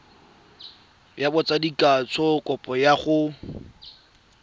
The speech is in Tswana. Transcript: ya botsadikatsho kopo ya go